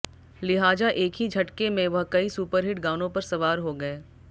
लिहाजा एक ही झटके में वह कई सुपर हिट गानों पर सवार हो गये